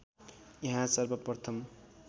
यहाँ सर्वप्रथम